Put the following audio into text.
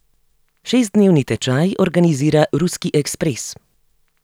Šestdnevni tečaj organizira Ruski ekspres.